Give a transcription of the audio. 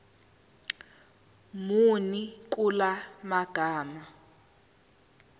muni kula magama